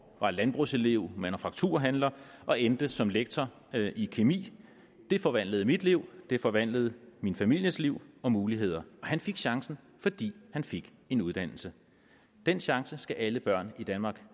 var landbrugselev manufakturhandler og endte som lektor i kemi det forvandlede mit liv det forvandlede min families liv og muligheder og han fik chancen fordi han fik en uddannelse den chance skal alle børn i danmark